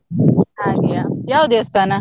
ಹಾಗೆಯ ಯಾವ್ ದೇವಸ್ಥಾನ?